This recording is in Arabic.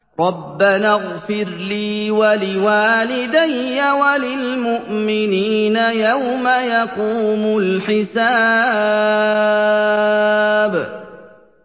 رَبَّنَا اغْفِرْ لِي وَلِوَالِدَيَّ وَلِلْمُؤْمِنِينَ يَوْمَ يَقُومُ الْحِسَابُ